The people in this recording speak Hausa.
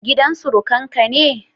Gidan surukan ka ne?